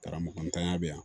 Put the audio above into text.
Karamɔgɔ ntanya bɛ yan